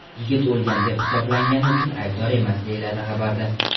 Yigit o‘lgan deb hisoblangani uchun aybdor emas, deyiladi xabarda.